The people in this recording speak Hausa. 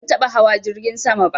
Ban taɓa hawa jirgin sama ba